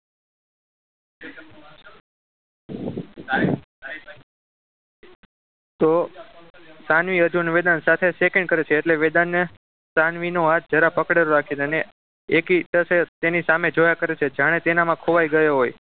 તો સાનવી અર્જુન વેદાંશ સાથે shake hand કરે છે એટલે વેદાંતને સાનવી નો હાથ જરા પકડેલો રાખે અને એક ટશે એની સામે જોયા કરે છે જાણે તેનામાં ખોવાઈ ગયો હોય